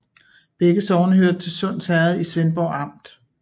Begge sogne hørte til Sunds Herred i Svendborg Amt